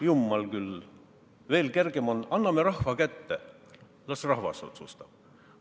Jumal küll, veel kergem on, kui anname rahva kätte ja las rahvas otsustab.